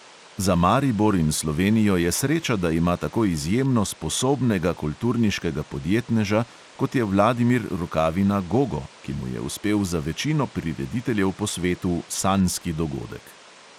Za maribor in slovenijo je sreča, da ima tako izjemno sposobnega kulturniškega podjetneža, kot je vladimir rukavina gogo, ki mu je uspel za večino prirediteljev po svetu sanjski dogodek.